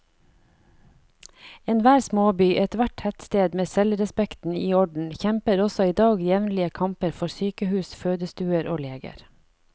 Enhver småby, ethvert tettsted med selvrespekten i orden, kjemper også i dag jevnlige kamper for sykehus, fødestuer og leger.